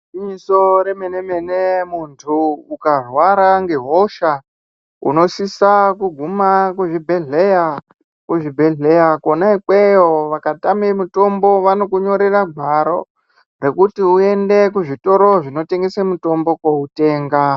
Gwinyiso remene mene munthu ukarwara ngehosha unosisa kuguma kuzvibhedhleya. Kuzvibhedhleya kwona ikweyo vakatame mutombo vanokunyorera gwaro rekuti uende kuzvitoro zvinotengese mutombo koutenga.